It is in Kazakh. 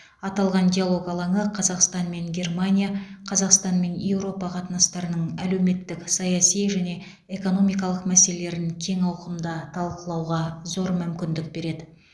аталған диалог алаңы қазақстан мен германия қазақстан мен еуропа қатынастарының әлеуметтік саяси және экономикалық мәселелерін кең ауқымда талқылауға зор мүмкіндік береді